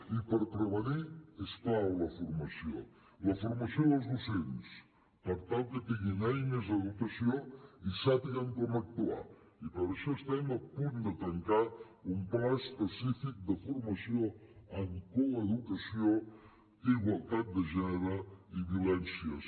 i per prevenir és clau la formació la formació dels docents per tal que tinguin eines de dotació i sàpiguen com actuar i per això estem a punt de tancar un pla específic de formació en coeducació igualtat de gènere i violències